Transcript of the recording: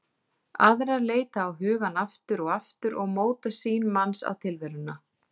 Aðrar leita á hugann aftur og aftur og móta sýn manns á tilveruna.